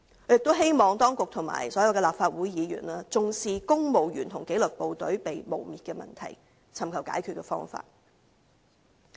我亦希望當局和所有立法會議員重視公務員和紀律部隊被誣衊的問題，尋求解決方法。